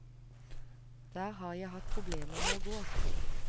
Der har jeg hatt problemer med å gå.